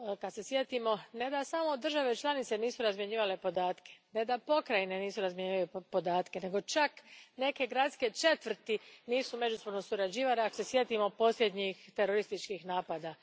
Ne samo da države članice nisu razmjenjivale podatke, ne da pokrajine nisu razmjenjivale podatke, nego čak neke gradske četvrti nisu međusobno surađivale, ako se sjetimo posljednjih terorističkih napada.